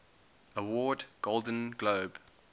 award golden globe